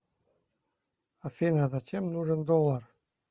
афина зачем нужен доллар